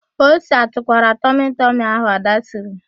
Ose atụkwara tọmịtịmị ahụ Ada siri?